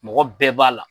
Mɔgɔ bɛɛ b'a la